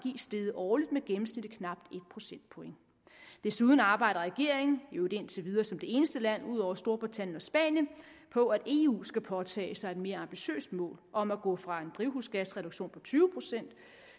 steget årligt med gennemsnitligt knap en procentpoint desuden arbejder regeringen i øvrigt indtil videre som de eneste ud over storbritannien og spanien på at eu skal påtage sig et mere ambitiøst mål om at gå fra en drivhusgasreduktion på tyve procent